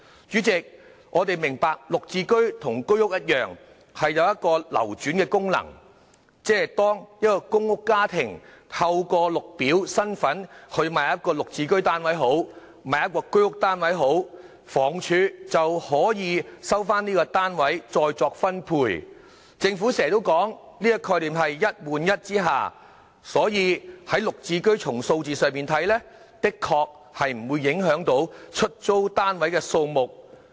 主席，我明白"綠置居"與居屋一樣有流轉功能，即是當一個公屋家庭透過綠表身份購買一個"綠置居"單位或居屋單位，房屋署便可以收回該單位再作分配，這便是政府經常說的"一換一"概念，所以從"綠置居"的數字來看，的確不會影響出租單位的數目。